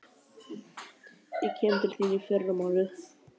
Ég kem til þín í fyrramálið.